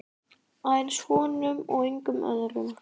Aðeins honum og engum öðrum.